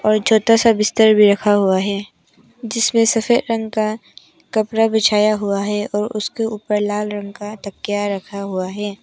और छोटा सा बिस्तर भी रखा हुआ है जिसमें सफेद रंग का कपड़ा बिछाया हुआ है और उसके ऊपर लाल रंग का तकिया रखा हुआ है।